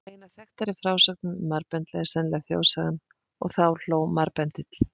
Ein af þekktari frásögnum um marbendla er sennilega þjóðsagan: Og þá hló marbendill.